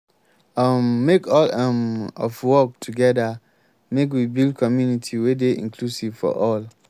um make all um of work togeda make we build community wey dey inclusive for all.